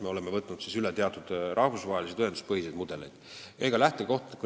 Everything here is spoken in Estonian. Me oleme võtnud üle teatud rahvusvahelisi tõenduspõhiseid mudeleid.